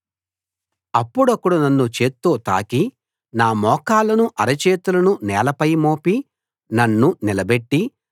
అప్పుడొకడు నన్ను చేత్తో తాకి నా మోకాళ్లను అరచేతులను నేలపై మోపి నన్ను నిలబెట్టి